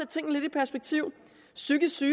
tingene lidt i perspektiv psykiske